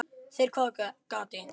Þeir hváðu: Gati?